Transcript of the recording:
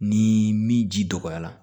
Ni min ji dɔgɔyara